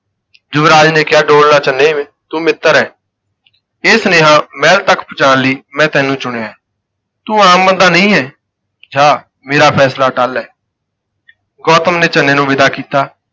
ਯੁਵਰਾਜ ਨੇ ਕਿਹਾ ਡੋਲ ਨਾ ਚੰਨੀ ਵੀ ਤੂੰ ਮਿੱਤਰ ਹੈ ਇਹ ਸੁਨੇਹਾ ਮਹਿਲ ਤੱਕ ਪਹੁੰਚਾਉਣ ਲਈ ਮੈਂ ਤੈਨੂੰ ਚੁਣਿਆ ਹੈ, ਤੂੰ ਆਮ ਬੰਦਾ ਨਹੀਂ ਹੈ, ਜਾ ਮੇਰਾ ਫੈਸਲਾ ਅਟੱਲ ਹੈ ਗੌਤਮ ਨੇ ਚੰਨੇ ਨੂੰ ਵਿਦਾ ਕੀਤਾ।